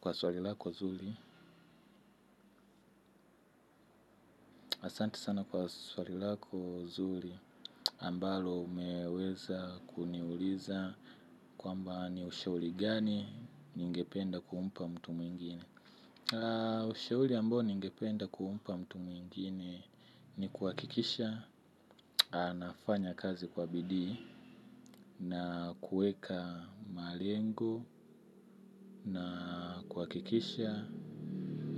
Kwa swalilako nzuri, asanti sana kwa swalilako zuri ambalo umeweza kuniuliza kwa mba ni ushauli gani ningependa kumpa mtu mwingine. Ushauli ambao ningependa kumpa mtu mwingine ni kuhakikisha, anafanya kazi kwa bidii na kuweka malengo. Na kuhakikisha